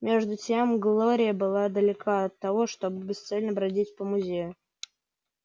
между тем глория была далека от того чтобы бесцельно бродить по музею